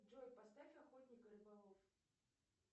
джой поставь охотник и рыболов